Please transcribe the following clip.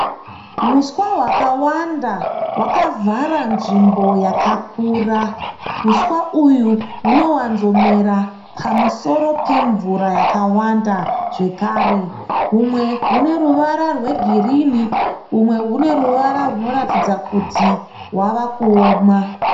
Huswa hwawanda wakavhara nzvimbo yakakura. Huswa uhwu hunawanzomera pamusoro pemvura akawanda zvekare. Humwe huneruvara rwegirinhi rwumwerwuneruvara rwunoratidza kuti hwavakuoma.